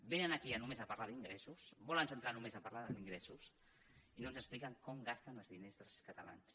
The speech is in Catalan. vénen aquí només a parlar d’ingressos es volen centrar només a parlar d’ingressos i no ens expliquen com gasten els diners dels catalans